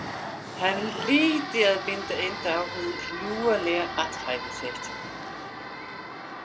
Hann hlyti að binda enda á hið lúalega athæfi sitt.